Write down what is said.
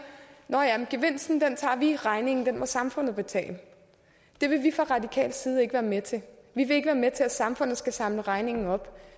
nå ja men gevinsten tager vi regningen må samfundet betale det vil vi fra radikal side ikke være med til vi vil ikke være med til at samfundet skal samle regningen op